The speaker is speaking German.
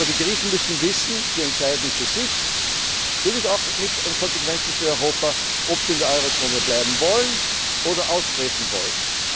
Aber die Griechen müssen wissen Sie entscheiden für sich natürlich auch mit Konsequenzen für Europa ob sie in der Eurozone bleiben wollen oder austreten wollen.